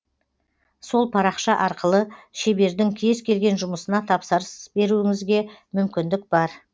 сол парақша арқылы шебердің кез келген жұмысына тапсырыс беруіңізге мүмкіндік бар